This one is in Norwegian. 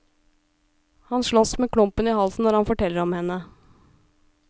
Han slåss med klumpen i halsen når han forteller om henne.